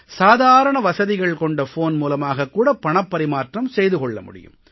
சாதாரண வசதிகள் கொண்ட போன் மூலமாகக் கூட பணப் பரிமாற்றம் செய்து கொள்ள முடியும்